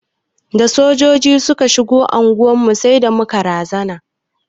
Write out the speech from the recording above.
Da Sojoji suka shigo anguwar mu sai da muka razana.